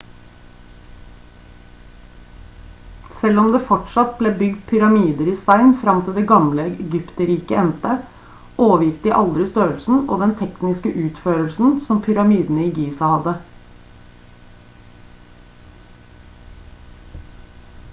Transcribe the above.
selv om det fortsatt ble bygd pyramider i stein frem til det gamle egypterriket endte overgikk de aldri størrelsen og den tekniske utførelsen som pyramidene i giza hadde